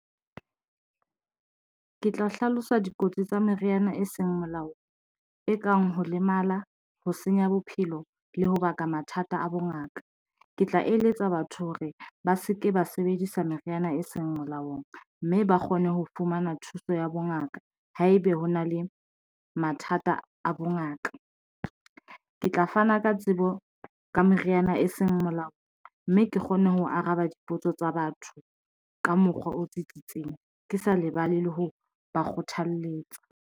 Ke tla hlalosa dikotsi tsa meriana e seng molaong, e kang ho lemala, ho senya bophelo le ho baka mathata a bongaka. Ke tla eletsa batho hore ba se ke ba sebedisa meriana e seng molaong mme ba kgone ho fumana thuso ya bongaka. Haebe ho na le mathata a bongaka. Ke tla fana ka tsebo ka meriana e seng molaong mme ke kgone ho araba dipotso tsa batho ka mokgwa o tsitsitseng, ke sa lebale le ho ba kgothalletsa.